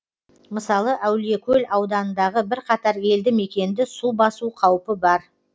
мысалы әулиекөл ауданындағы бірқатар елді мекенді су басу қаупі бар